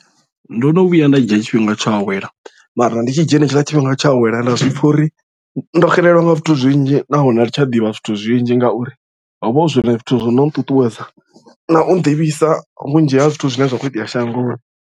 Ndo no vhuya nda dzhia tshifhinga tsho awela mara ndi tshi dzhia hetshiḽa tshifhinga tsha u awela nda zwi pfha uri ndo xelelwa nga zwithu zwinzhi nahone athi tsha ḓivha zwithu zwinzhi ngauri ho vha hu zwone zwithu zwo no nṱuṱuwedza na u nḓivhisa vhunzhi ha zwithu zwine zwa kho itea shangoni.